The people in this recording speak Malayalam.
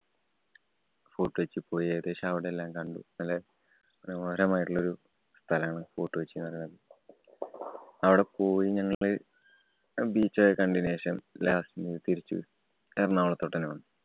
ഫോര്‍ട്ട്‌ കൊച്ചി പോയി. ഏകദേശം അവിടെല്ലാം കണ്ടു. നല്ലേ മനോഹരമായിട്ടുള്ളൊരു സ്ഥലാണ് ഫോര്‍ട്ട്‌ കൊച്ചി എന്ന് പറയുന്നത്. അവിടെ പോയി ഞങ്ങള് beach ഒക്കെ കണ്ടതിനു ശേഷം last തിരിച്ചു എറണാകുളത്തോട്ടന്നെ വന്നു.